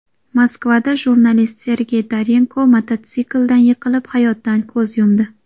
Moskvada jurnalist Sergey Dorenko mototsikldan yiqilib, hayotdan ko‘z yumdi.